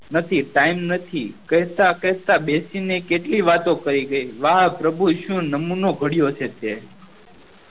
નથી time નથી કેહતા કેહતા બેસી ને કેટલી વાતો કહી ગયી વાહ પ્રભુ ઈશુ નમુનો ગળ્યો છે તે